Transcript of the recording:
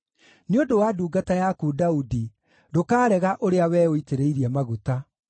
Nĩ ũndũ wa ndungata yaku Daudi, ndũkarega ũrĩa we ũitĩrĩirie maguta.